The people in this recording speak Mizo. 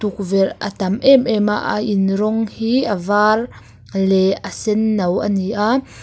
tukverh a tam em em a a in rawng hi a var leh a sen no a ni a.